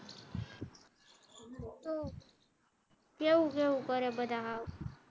કેવું કેવું કરે બધા હાવ